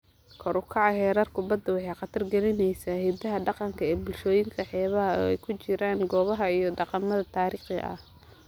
Kor u kaca heerarka baddu waxay khatar gelinaysaa hidaha dhaqanka ee bulshooyinka xeebaha, oo ay ku jiraan goobaha iyo dhaqamada taariikhiga ah.